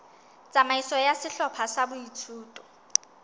tsamaiso ya sehlopha sa boithuto